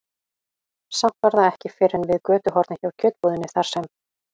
Samt var það ekki fyrr en við götuhornið hjá kjötbúðinni, þar sem